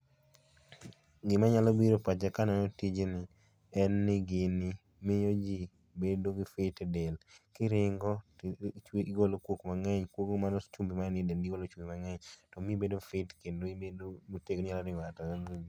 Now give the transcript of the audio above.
Gima nyalo biro e pacha kaneno tijni en ni gini miyo jii bedo gi fit[csc] e dendgi. Kiringo tigolo kuok mangeny kuog mano chumbi manie dendi igolo chumbi mangeny to miyi ibedo fit kendo ibedo motegno inyalo ringo kata